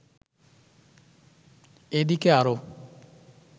এদিকে আরো